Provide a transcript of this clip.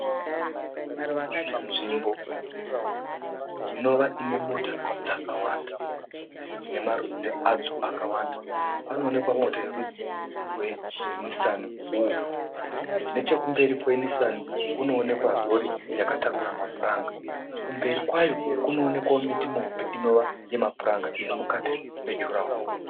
Nzvimbo inova inemota dzakawanda nemarudzi adzo akawanda panoonekwa mota yerudzi rweNisani wuufu. Nechekumberi kweNisani kunoonekwa rori yakatakura mapuranga. Kumberi kwayo kunoonekwawo miti mihombe inova yemapuranga irimukati mejuraho.